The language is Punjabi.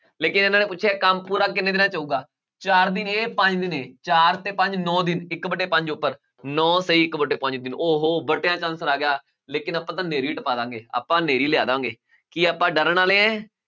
ਲੇਕਿੰਨ ਇਹਨਾਂ ਨੇ ਪੁੱਛਿਆ ਕੰਮ ਪੂਰਾ ਕਿੰਨੇ ਦਿਨਾਂ 'ਚ ਹੋਊਗਾ ਚਾਰ ਦਿਨ ਇਹ ਪੰਜ ਦਿਨ ਇਹ, ਚਾਰ ਤੇ ਪੰਜ ਨੋਂ ਦਿਨ ਇੱਕ ਵਟੇ ਪੰਜ ਉੱਪਰ, ਨੋਂ ਸਹੀਂ ਇੱਕ ਵਟੇ ਪੰਜ ਦਿਨ ਉਹ ਹੋ ਵਟਿਆਂ 'ਚ answer ਆ ਗਿਆ, ਲੇਕਿੰਨ ਆਪਾਂ ਤਾਂ ਹਨੇਰੀ ਟਪਾ ਦੇਵਾਂਗੇ, ਆਪਾਂ ਹਨੇਰੀ ਲਿਆ ਦੇਵਾਂਗੇ ਕੀ ਆਪਾਂ ਡਰਨ ਵਾਲੇ ਹੈ